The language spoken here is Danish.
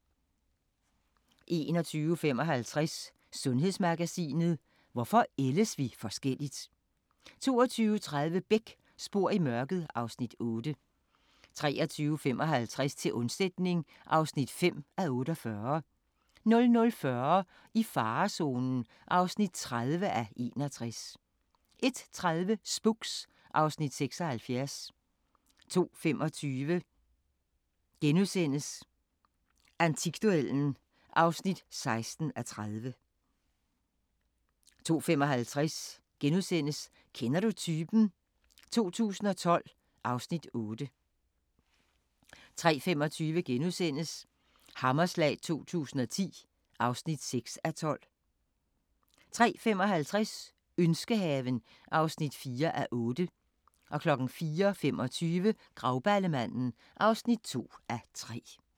21:55: Sundhedsmagasinet: Hvorfor ældes vi forskelligt? 22:30: Beck: Spor i mørket (Afs. 8) 23:55: Til undsætning (5:48) 00:40: I farezonen (30:61) 01:30: Spooks (Afs. 76) 02:25: Antikduellen (16:30)* 02:55: Kender du typen? 2012 (Afs. 8)* 03:25: Hammerslag 2010 (6:12)* 03:55: Ønskehaven (4:8) 04:25: Grauballemanden (2:3)